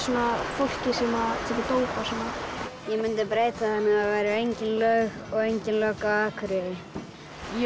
fólki sem tekur dóp og svona ég mundi breyta þannig að það væru engin lög og engin lögga á Akureyri ég